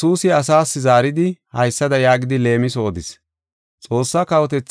“Xoossaa kawotethay ba na7aas yaagano giigisida kawa daanees.